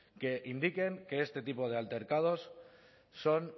que indiquen que este tipo de altercados son